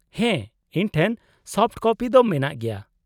-ᱦᱮᱸ ᱤᱧ ᱴᱷᱮᱱ ᱥᱚᱯᱷᱚᱴ ᱠᱚᱯᱤ ᱫᱚ ᱢᱮᱱᱟᱜ ᱜᱮᱭᱟ ᱾